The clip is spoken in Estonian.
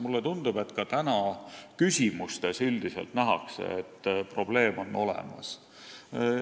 Mulle tundub ka tänaste küsimuste põhjal, et üldiselt nähakse, et probleem on olemas.